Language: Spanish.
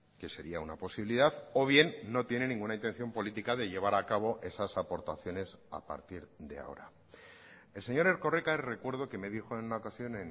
que sería una posibilidad o bien no tienen ninguna intención política de llevar a cabo esas aportaciones a partir de ahora el señor erkoreka recuerdo que me dijo en una ocasión